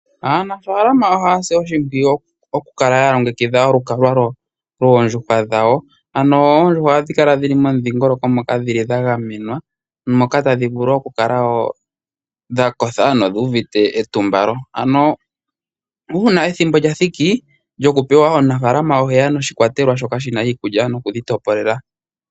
Aanafaalama ohaya si oshimpwiyu okukala ya longekidha olukalwa lwoondjuhwa dhawo. Oondjuhwa ohadhi kala dhi li momudhingoloko ngoka gwa gamenwa moka tadhi vulu okukala wo dha kotha nodhu uvite etumbalo. Uuna ethimbo lyoku dhi hawaleka omunafalama oheya noshikwatelwa shoka shi na iikulya noku dhi topolela.